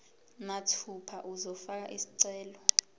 mathupha uzofaka isicelo